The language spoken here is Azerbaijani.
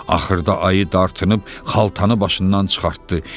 Axırda ayı dartınıb xaltanı başından çıxartdı.